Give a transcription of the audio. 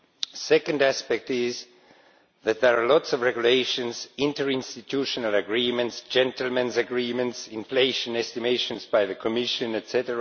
The second aspect is that there are lots of regulations, interinstitutional agreements, gentlemen's agreements, inflation estimations by the Commission, etc.,